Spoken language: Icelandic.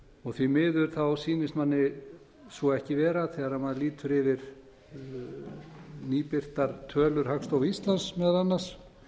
og því miður sýnist manni svo ekki vera þegar maður lítur yfir nýbirtar tölur hagstofu íslands meðal annars